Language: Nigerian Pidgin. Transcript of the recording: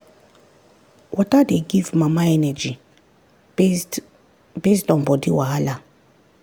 water dey give mama energy based based on body wahala.